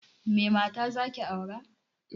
Me mata zaki aura?